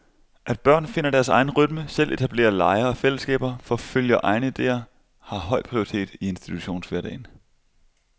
At børn finder deres egen rytme, selv etablerer lege og fællesskaber, forfølger egne idéer har høj prioritet i institutionshverdagen.